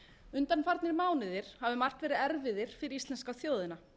undanfarnir mánuðir hafa um margt verið erfiðir fyrir íslensku þjóðina